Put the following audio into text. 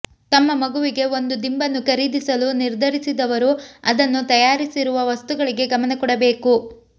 ತಮ್ಮ ಮಗುವಿಗೆ ಒಂದು ದಿಂಬನ್ನು ಖರೀದಿಸಲು ನಿರ್ಧರಿಸಿದವರು ಅದನ್ನು ತಯಾರಿಸಿರುವ ವಸ್ತುಗಳಿಗೆ ಗಮನ ಕೊಡಬೇಕು